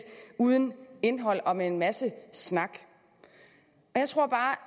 uden indhold og med en masse snak jeg tror bare